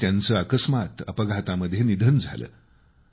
आणि त्यांचं अकस्मात अपघातामध्ये निधन झालं